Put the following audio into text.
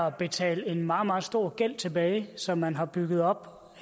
at betale en meget meget stor gæld tilbage som man har bygget op